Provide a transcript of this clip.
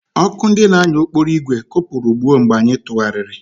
Ọkụ ndị na-anya ụgbọ okporo ígwè kụpụrụ gbuo mgbe anyị tụgharịrị.